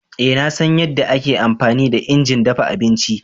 Ee na san yadda ake amfani da injin dafa abinci.